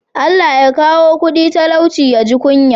Allah Ya kawo kudi talauci ya ji kunya?